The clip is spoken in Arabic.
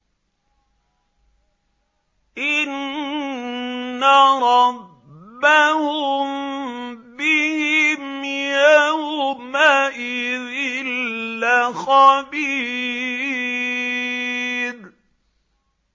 إِنَّ رَبَّهُم بِهِمْ يَوْمَئِذٍ لَّخَبِيرٌ